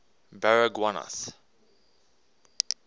baragwanath